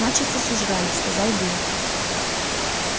начисто сожрали сказал билл